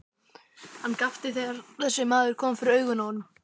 Hann gapti þegar þessi maður kom fyrir augun á honum.